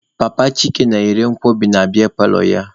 Papa Chike na-erekwa nkwobi na biya paalọ ya.